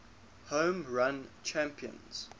home run champions